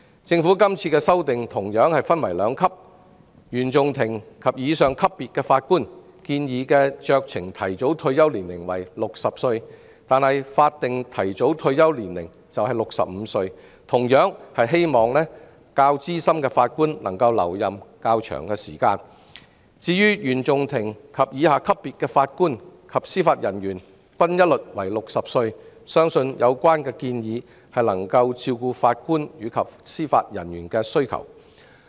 政府今次的修訂同樣分為兩級：原訟法庭及以上級別的法官的建議酌情提早退休年齡為60歲，法定提早退休年齡則為65歲，以鼓勵較資深的法官能留任較長時間；至於原訟法庭以下級別的法官及司法人員均一律為60歲，相信有關建議能夠照顧法官及司法人員的需要。